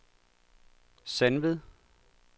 Sandved